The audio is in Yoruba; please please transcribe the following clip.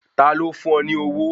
Ta ló fún ọ ní owó